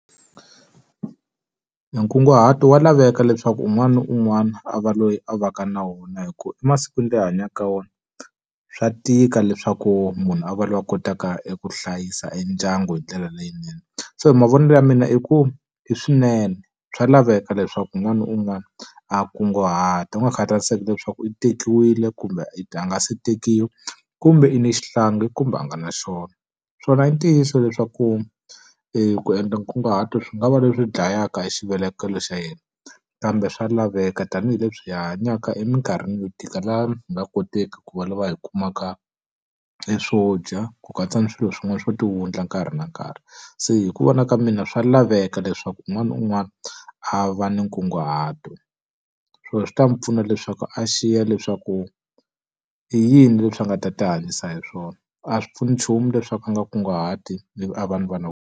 E nkunguhato wa laveka leswaku un'wana na un'wana a va loyi a va ka na wona hi ku emasikwini la hi hanyaka wona, swa tika leswaku munhu a va lava kotaka eku hlayisa e ndyangu hi ndlela leyinene. So mavonelo ya mina i ku i swinene, swa laveka leswaku n'wana un'wana a kunguhata. Ku nga khataleki leswaku i tekiwile, kumbe i a nga se tekiwa, kumbe i ni xihlangi kumbe a nga na xona. Swona i ntiyiso leswaku ku endla nkunguhato swi nga va leswi dlayaka e xivelekelo xa yena, kambe swa laveka tanihileswi hi hanyaka eminkarhini yo tika laha hi nga koteki ku va lava hi kumaka swo dya, ku katsa ni swilo swin'wana swo ti wundla nkarhi na nkarhi. Se hi ku vona ka mina swa laveka leswaku un'wana na un'wana a va na nkunguhato. So swi ta n'wi pfuna leswaku a xiya leswaku i yini leswi a nga ta ti hanyisa hi swona. A swi pfuni nchumu leswaku a nga kunguhati ivi a va ni vana .